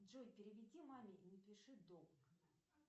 джой переведи маме и напиши долг